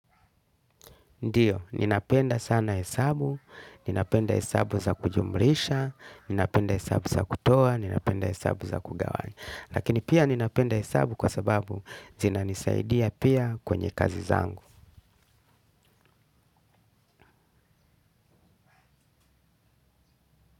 Ndio ninapenda sana hesabu ninapenda hesabu za kujumlisha ninapenda hesabu za kutoa ninapenda heshabu za kugawanya. Lakini pia ninapenda hesabu kwa sababu zina nisaidia pia kwenye kazi zangu.